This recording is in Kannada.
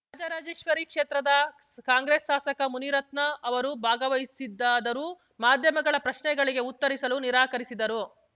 ರಾಜರಾಜೇಶ್ವರಿ ಕ್ಷೇತ್ರದ ಕಾಂಗ್ರೆಸ್‌ ಶಾಸಕ ಮುನಿರತ್ನ ಅವರು ಭಾಗವಹಿಸಿದ್ದಾದರೂ ಮಾಧ್ಯಮಗಳ ಪ್ರಶ್ನೆಗಳಿಗೆ ಉತ್ತರಿಸಲು ನಿರಾಕರಿಸಿದರು